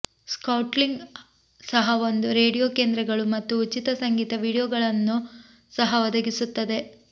SoundClick ಸಹ ಒಂದು radio ಕೇಂದ್ರಗಳು ಮತ್ತು ಉಚಿತ ಸಂಗೀತ ವೀಡಿಯೊಗಳನ್ನು ಸಹ ಒದಗಿಸುತ್ತದೆ